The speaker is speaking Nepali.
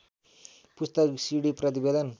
पुस्तक सिडी प्रतिवेदन